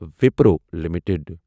Wipro limited